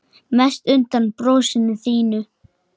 Mest undan brosinu þínu.